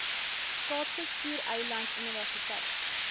kaapse skiereiland universiteit